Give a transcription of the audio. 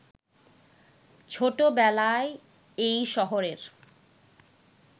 ছোটবেলায় এই শহরের